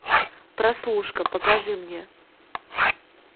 прослушка покажи мне